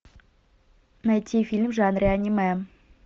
найти фильм в жанре аниме